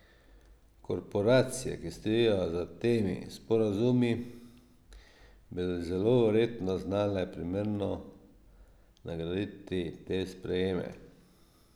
Korporacije, ki stojijo za temi sporazumi, bi zelo verjetno znale primerno nagraditi te sprejeme.